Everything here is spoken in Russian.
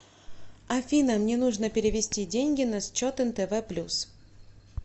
афина мне нужно перевести деньги на счет нтв плюс